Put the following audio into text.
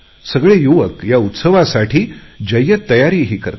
सगळे युवक या उत्सवासाठी जय्यत तयारीही करतात